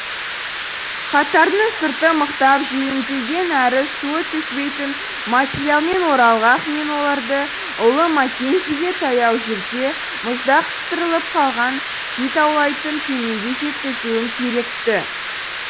хаттардың сырты мықтап желімделген әрі су өткізбейтін материалмен оралған мен оларды ұлы маккензиге таяу жерде мұзда қыстырылып қалған кит аулайтын кемеге жеткізуім керек ті